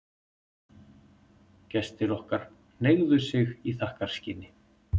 Gestir okkar hneigðu sig í þakkarskyni.